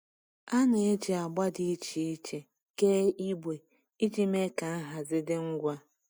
A na-eji agba dị iche iche kee igbe iji mee ka nhazi dị ngwa.